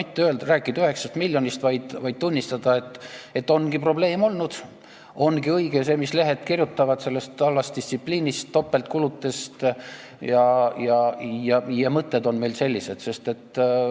Ei ole vaja rääkida 9 miljonist, vaid tuleb tunnistada, et ongi probleem olnud, ongi õige see, mis lehed kirjutavad halvast distsipliinist, topeltkuludest, ja et mõtted on meil sellised.